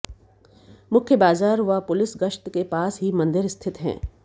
मुख्य बाजार व पुलिस गश्त के पास ही मंदिर स्थित हैं